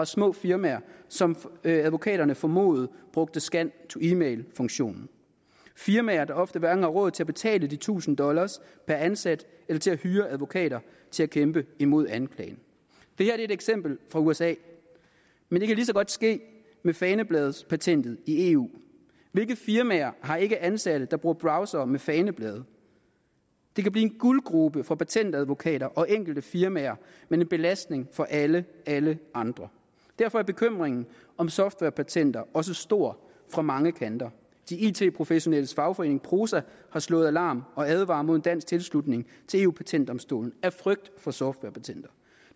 små firmaer som advokaterne formodede brugte scan to e mail funktionen firmaer der ofte hverken har råd til at betale titusind dollar per ansat eller til at hyre advokater til at kæmpe imod anklagen det er et eksempel fra usa men det kan lige så godt ske med fanebladspatentet i eu hvilke firmaer har ikke ansatte der bruger browsere med faneblade det kan blive en guldgrube for patentadvokater og enkelte firmaer men en belastning for alle alle andre derfor er bekymringen om softwarepatenter også stor fra mange kanter de it professionelles fagforening prosa har slået alarm og advarer mod dansk tilslutning til eu patentdomstolen af frygt for softwarepatenterne